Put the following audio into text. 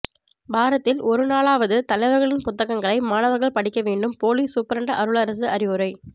வாரத்தில் ஒரு நாளாவது தலைவர்களின் புத்தகங்களை மாணவர்கள் படிக்க வேண்டும் போலீஸ் சூப்பிரண்டு அருளரசு அறிவுரை